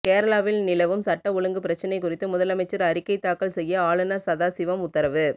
கேரளாவில் நிலவும் சட்ட ஒழுங்கு பிரச்சனை குறித்து முதலமைச்சர் அறிக்கை தாக்கல் செய்ய ஆளுநர் சதாசிவம் உத்தரவு